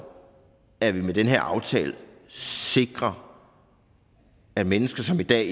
at vi med den her aftale sikrer at mennesker som i dag